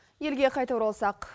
елге қайтып оралсақ